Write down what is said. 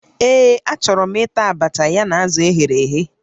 Ee, achọrọ m ịta abacha ya na azụ eghere eghe